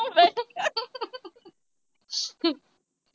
ਹਮ